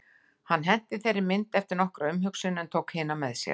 Hann henti þeirri mynd eftir nokkra umhugsun en tók hina með sér.